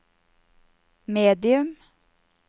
medium